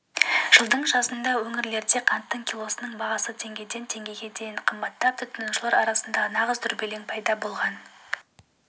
жылдың жазында өңірлерде қанттың килосының бағасы теңгеден теңгеге дейін қымбаттап тұтынушылар арасында нағыз дүрбелең пайда болған